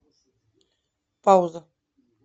пауза